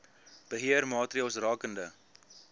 beheer maatreëls rakende